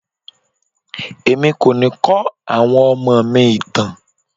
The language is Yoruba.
Èmi kò ni kọ àwọn ọmọ mi ìtàn.